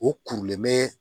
O kurulen bɛ